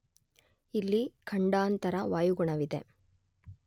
ಇಲ್ಲಿ ಖಂಡಾಂತರ ವಾಯುಗುಣವಿದೆ.